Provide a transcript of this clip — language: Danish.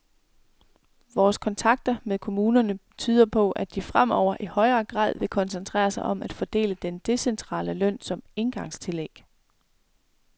Vores kontakter med kommunerne tyder på, at de fremover i højere grad vil koncentrere sig om at fordele den decentrale løn som engangstillæg.